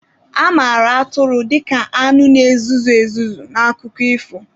A mara atụrụ dika anụ na-ezuzu ezuzu n'akụkọ ifo.